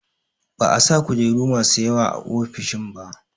Ba'a sa kujeru masu yawa a ofishin ba